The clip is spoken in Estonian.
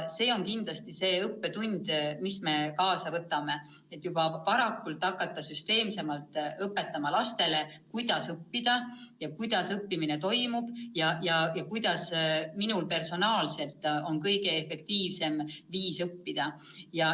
See on kindlasti õppetund, mille me kaasa võtame, et juba varakult hakata lastele süsteemsemalt õpetama, kuidas õppida, kuidas õppimine toimub ja kuidas igaühel personaalselt on kõige efektiivsem õppida.